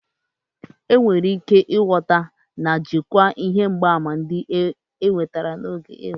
Enwere ike ịghọta na jikwaa ihe mgbaàmà ndị enwetara n'oge iduban'otu.